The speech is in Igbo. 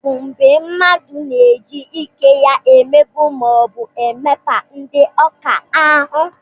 Bụliyin bụ mgbé mmadụ na-eji ike ya emegbu maọbu emekpa ndị ọ ka ahụ.